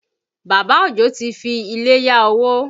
Bàbá Òjó ti fi ilé yá owó